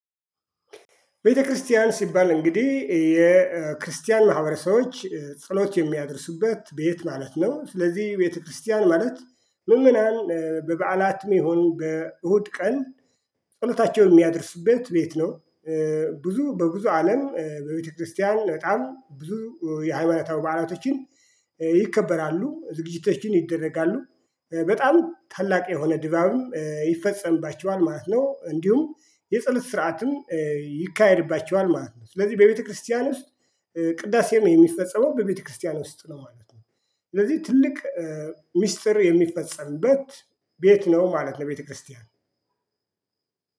ቤተክርስቲያን ሲባል እንግዲህ የክርስቲያን ማህበረሰቦች ጸሎት የሚያደርሱበት ቤት ማለት ነው። ስለዚህ ቤተክርስቲያን ማለት ምዕመናን በበዓላትም ይሁን በእሁድ ቀን ጸሎታቸውን የሚያደርሱበት ቤት ነው። ብዙ በብዙ አለም በቤተክርስቲያን በጣም ብዙ የሃይማኖታዊ በዓላቶችን ይከበራሉ ዝግጅቶችን ይደረጋሉ። በጣም ታላቅ የሆነ ድባብም ይፈጸምባቸዋል ማለት ነው። እንዲሁም የጸሎት ስርዓትም ይካሄድባቸዋል ማለት ነው። ስለዚህ በቤተክርስቲያን ውስጥ ቅዳሴ ነው የሚፈጸመው በቤተክርስቲያን ውስጥ ነው ማለት ነው። ስለዚህ ትልቅ ሚስጥር የሚፈጸምበት ቤት ነው ማለት ነው። ቤተክርስቲያን